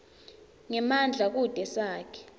ngemandla kute sakhe